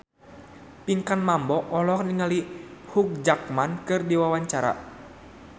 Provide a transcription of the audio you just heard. Pinkan Mambo olohok ningali Hugh Jackman keur diwawancara